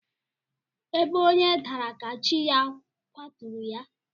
Ebe onye dara ka chi ya kwaturu ya.